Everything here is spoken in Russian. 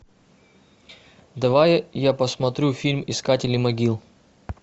давай я посмотрю фильм искатели могил